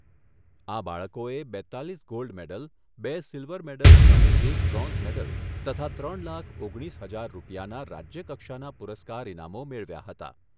આ બાળકોએ બેત્તાલીસ ગોલ્ડ મેડલ, બે સિલ્વર મેડલ અને એક બ્રોન્ઝ મેડલો તથા ત્રણ લાખ ઓગણીસ હજાર રૂપિયાના રાજ્યકક્ષાના પુરસ્કાર ઇનામો મેળવ્યા હતા.